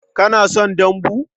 Kana son dambu?